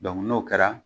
n'o kɛra